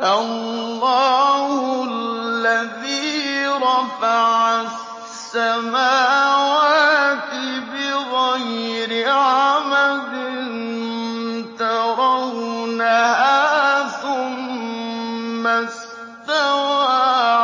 اللَّهُ الَّذِي رَفَعَ السَّمَاوَاتِ بِغَيْرِ عَمَدٍ تَرَوْنَهَا ۖ ثُمَّ اسْتَوَىٰ